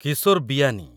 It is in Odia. କିଶୋର ବିୟାନି